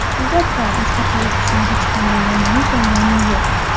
Albatta, mustaqil o‘qishning hech qanday yomon tomoni yo‘q.